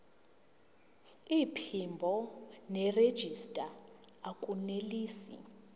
iphimbo nerejista akunelisi